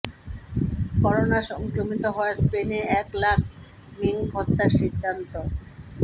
corona সংক্রমিত হওয়ায় স্পেনে এক লাখ মিংক হত্যার সিদ্ধান্ত